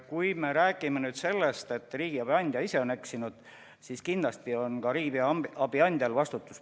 Kui me räägime sellest, et riigiabi andja ise on eksinud, siis kindlasti on ka riigiabi andjal vastutus.